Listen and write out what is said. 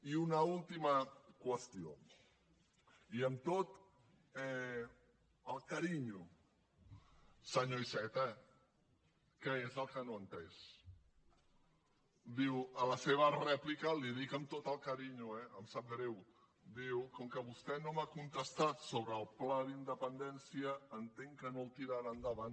i una última qüestió i amb tot el carinyo senyor iceta què és el que no ha entès diu a la seva rèplica li ho dic amb tot el carinyo eh em sap greu diu com que vostè no m’ha contestat sobre el pla d’independència entenc que no el tirarà endavant